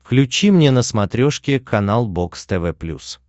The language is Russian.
включи мне на смотрешке канал бокс тв плюс